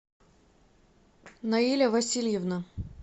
наиля васильевна